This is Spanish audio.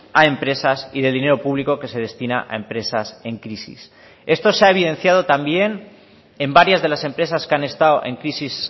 a empresas y del dinero público que se destina a empresas en crisis esto se ha evidenciado también en varias de las empresas que han estado en crisis